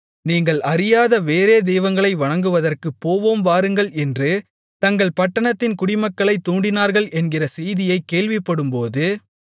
நீங்கள் அறியாத வேறே தெய்வங்களை வணங்குவதற்குப் போவோம் வாருங்கள் என்று தங்கள் பட்டணத்தின் குடிமக்களைத் தூண்டினார்கள் என்கிற செய்தியைக் கேள்விப்படும்போது